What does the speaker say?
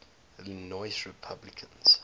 illinois republicans